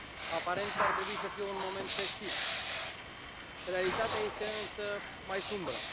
Aparent, ar trebui să fie un moment festiv, realitatea este însă mai sumbră.